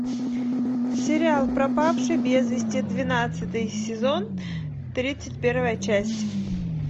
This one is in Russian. сериал пропавший без вести двенадцатый сезон тридцать первая часть